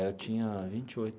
Eu tinha vinte e oito.